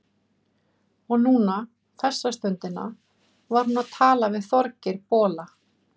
Og núna, þessa stundina, var hún að tala við Þorgeir bola.